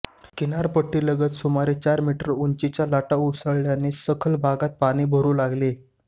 किनारपट्टीलगत सुमारे चार मीटर उंचीच्या लाटा उसळल्याने सखल भागात पाणी भरू लागले